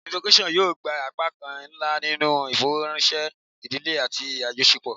Innovation yoo gba apakan nla ninu ifọrọranṣẹ idile ati ajọṣepọ